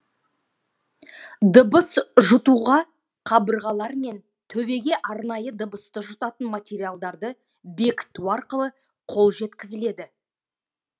дыбыс жұтуға қабырғалар мен төбеге арнайы дыбысты жұтатын материалдарды бекіту арқылы қол жеткізіледі